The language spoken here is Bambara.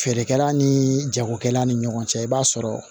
Feerekɛla ni jagokɛla ni ɲɔgɔn cɛ i b'a sɔrɔ